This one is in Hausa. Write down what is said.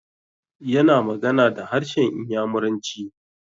Yana magana da harshen Inyamuranci.